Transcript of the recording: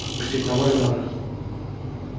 отпустить на волю может